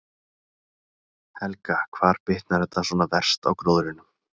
Helga: Hvar bitnar þetta svona verst á gróðrinum?